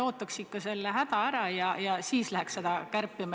Ootaks ikka häda ära ja siis läheks seda kärpima.